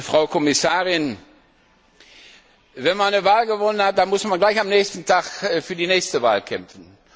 Frau Kommissarin, wenn man eine Wahl gewonnen hat, dann muss man gleich am nächsten Tag für die nächste Wahl kämpfen.